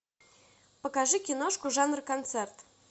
покажи киношку жанр концерт